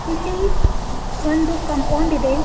ಇಲ್ಲಿ ಒಂದು ಕಾಂಪೌಂಡ್ ಇದೆ.